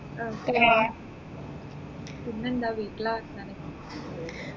okay പിന്നെന്താ വീട്ടിലെ വർത്താനങ്ങൾ